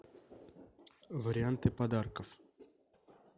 варианты подарков